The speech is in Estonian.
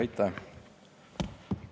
Aitäh!